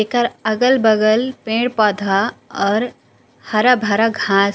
एकर अगल बगल पेड़ पौधा और हरा भरा घास--